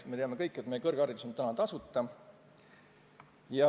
Me teame kõik, et kõrgharidus on Eestis tasuta.